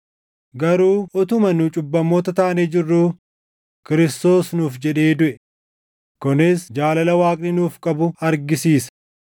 Garuu utuma nu cubbamoota taanee jirruu Kiristoos nuuf jedhee duʼe; kunis jaalala Waaqni nuuf qabu argisiisa.